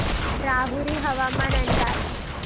राहुरी हवामान अंदाज